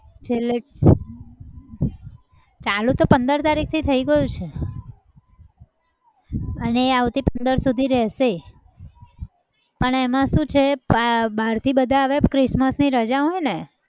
છેલ્લે ચાલુ તો પંદર તારીખથી થઈ ગયું છે. અને એ આવતી પંદર સુધી રહેશે પણ એમાં શું છે બાર થી બધા આવે christmas ની રજા હોય ને.